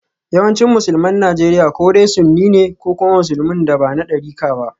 Yawancin Musulman Najeriya ko dai sunni ne ko kuma musulmin da ba na darika ba.